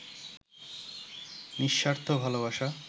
নিঃস্বার্থ ভালোবাসা